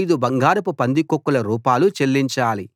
ఐదు బంగారపు పందికొక్కుల రూపాలు చెల్లించాలి